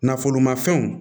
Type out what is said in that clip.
Nafolomafɛnw